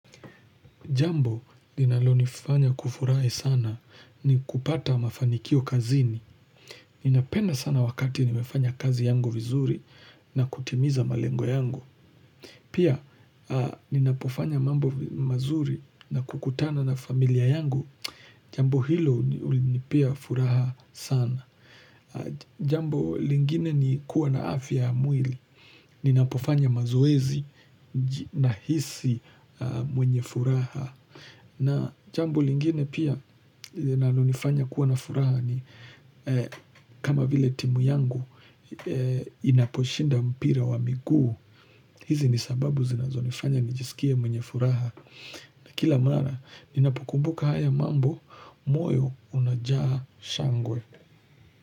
Jambo linalo nifanya kufurahi sana ni kupata mafanikio kazini. Ninapenda sana wakati nimefanya kazi yangu vizuri na kutimiza malengo yangu. Pia, ninapofanya mambo mazuri na kukutana na familia yangu, jambo hilo hunipa furaha sana. Jambo, lingine ni kuwa na afya ya mwili. Ninapofanya mazoezi najihisi mwenye furaha. Na jambo lingine pia linalonifanya kuwa na furaha ni kama vile timu yangu inaposhinda mpira wa miguu. Hizi ni sababu zinazo nifanya nijisikia mwenye furaha. Na kila mara, ninapo kumbuka haya mambo, moyo unajaa shangwe.